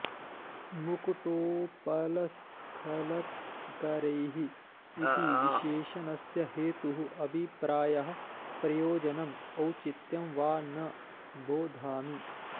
मुकुटोपलस्खलत्करैः इति विशेषणस्य हेतुः अभिप्रायः प्रयोजनम् औचित्यं वा न बोधामि